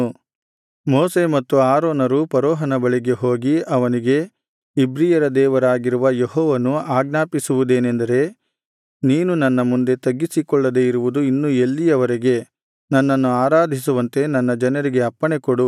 ಮೋಶೆ ಮತ್ತು ಆರೋನರು ಫರೋಹನ ಬಳಿಗೆ ಹೋಗಿ ಅವನಿಗೆ ಇಬ್ರಿಯರ ದೇವರಾಗಿರುವ ಯೆಹೋವನು ಆಜ್ಞಾಪಿಸುವುದೇನೆಂದರೆ ನೀನು ನನ್ನ ಮುಂದೆ ತಗ್ಗಿಸಿಕೊಳ್ಳದೆ ಇರುವುದು ಇನ್ನು ಎಲ್ಲಿಯವರೆಗೆ ನನ್ನನ್ನು ಆರಾಧಿಸುವಂತೆ ನನ್ನ ಜನರಿಗೆ ಅಪ್ಪಣೆ ಕೊಡು